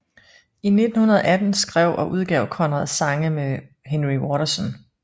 I 1918 skrev og udgav Conrad sange med Henry Waterson